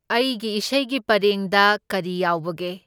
ꯑꯩꯒꯤ ꯏꯁꯩꯒꯤ ꯄꯔꯦꯡꯗ ꯀꯔꯤ ꯌꯥꯎꯕꯒꯦ?